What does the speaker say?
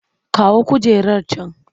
Kawo kujerar can!